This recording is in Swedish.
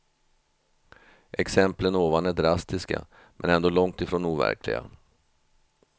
Exemplen ovan är drastiska men ändå långt ifrån overkliga.